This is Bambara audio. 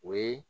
O ye